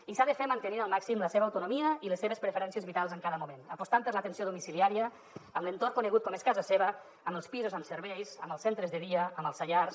i s’ha de fer mantenint al màxim la seva autonomia i les seves preferències vitals en cada moment apostant per l’atenció domiciliària amb l’entorn conegut com és casa seva amb els pisos amb serveis amb els centres de dia amb els saiars